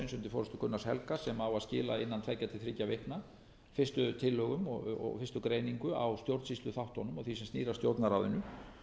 forustu gunnars helga sem á að skila innan tveggja til þriggja vikna fyrstu tillögum og fyrstu greiningu á stjórnsýsluþáttunum og því sem snýr að stjórnarráðinu